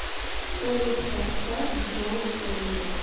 салют поставь джон кенза